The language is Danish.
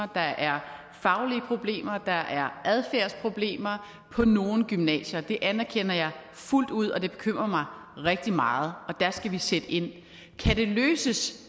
der er faglige problemer og der er adfærdsproblemer på nogle gymnasier det anerkender jeg fuldt ud og det bekymrer mig rigtig meget og der skal vi sætte ind kan det løses